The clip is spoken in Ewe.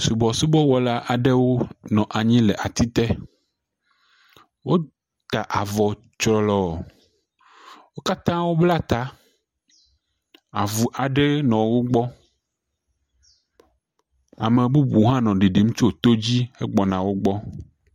Subɔsubɔwɔla aɖewo nɔ anyi le atite. Wota avɔ tsrɔlɔɔ. Wo katã wobla ta, avu aɖe nɔ wogbɔ. Ame bubu hã nɔ ɖiɖim tso todzi hegbɔna wogbɔ.